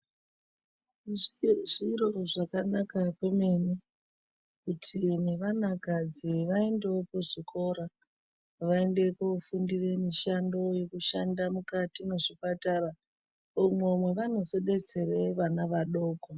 Zviro zvakanaka kwemene kuti nevanakadzi vaendewo kuzvikora vaende kofundire mishando yekushanda mukati mwezvipatara umwo mwevanozo detsera vana vadoko.